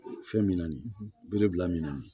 Fɛn min na nin bere bila min na